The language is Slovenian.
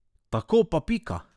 Tako pa pika!